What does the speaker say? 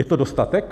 Je to dostatek?